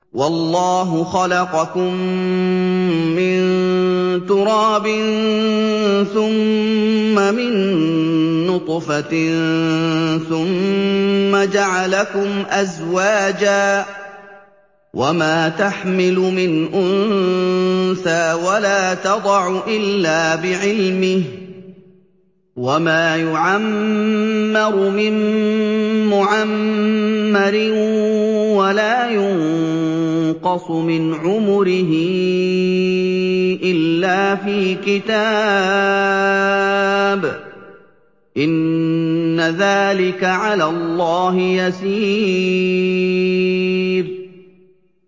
وَاللَّهُ خَلَقَكُم مِّن تُرَابٍ ثُمَّ مِن نُّطْفَةٍ ثُمَّ جَعَلَكُمْ أَزْوَاجًا ۚ وَمَا تَحْمِلُ مِنْ أُنثَىٰ وَلَا تَضَعُ إِلَّا بِعِلْمِهِ ۚ وَمَا يُعَمَّرُ مِن مُّعَمَّرٍ وَلَا يُنقَصُ مِنْ عُمُرِهِ إِلَّا فِي كِتَابٍ ۚ إِنَّ ذَٰلِكَ عَلَى اللَّهِ يَسِيرٌ